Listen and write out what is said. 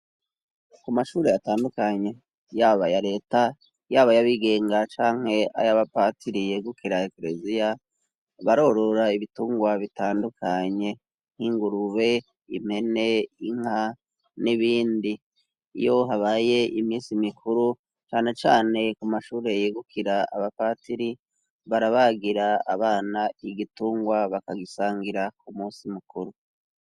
Ku mashure atandukanye yaba ya leta yaba yabigenga canke ayabapatiri yegukera ekelesiya barorora ibitungwa bitandukanye nk'ingurube impene inka n'ibindi iyo habaye imisi mikuru canecane ku mashure yegukeiya gira abapatiri barabagira abana igitungwa bakagisangira ku musi mukuru.